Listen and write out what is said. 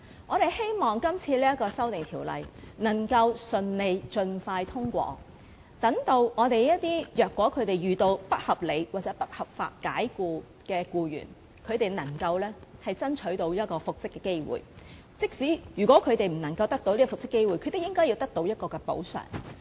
我們希望這項《條例草案》能夠盡快順利通過，好讓一些遇到不合理或不合法解僱的僱員能爭取到復職的機會，即使他們不能復職，亦獲得應得的補償。